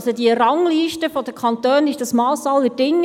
Also, die Rangliste der Kantone ist das Mass aller Dinge.